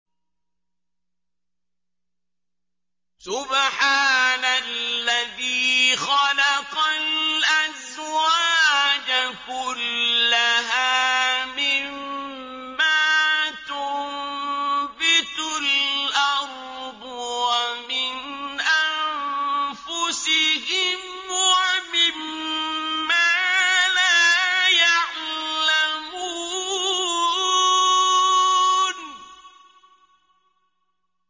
سُبْحَانَ الَّذِي خَلَقَ الْأَزْوَاجَ كُلَّهَا مِمَّا تُنبِتُ الْأَرْضُ وَمِنْ أَنفُسِهِمْ وَمِمَّا لَا يَعْلَمُونَ